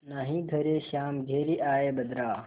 नाहीं घरे श्याम घेरि आये बदरा